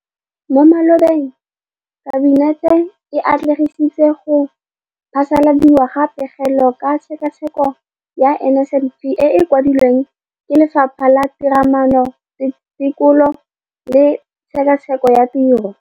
Mo malobeng Kabinete e atlenegisitse go phasaladiwa ga Pegelo ka Tshekatsheko ya NSNP e e kwadilweng ke Lefapha la Tiromaano, Tekolo le Tshekatsheko ya Tiro DPME.